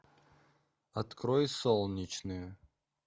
открой солнечную